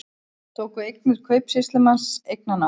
Tóku eignir kaupsýslumanns eignarnámi